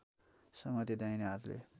समाती दाहिने हातले